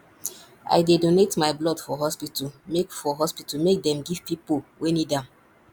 i dey donate my blood for hospital make for hospital make dem give pipo wey need am